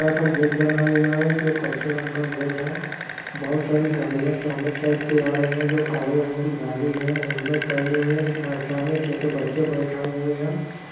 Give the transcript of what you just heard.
बड़ा सा गेट बना हुआ है जो कच्चे रंग का गेट है बहुत सारी गाड़िया सामने के साइड पे आ रही है जो काले रंग की गाड़ी है हेलमेट पहने हुए एक सामने एक छोटे बच्चे बेठाए हुए है।